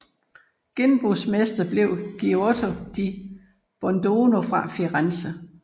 Gennembrudsmester blev Giotto di Bondone fra Firenze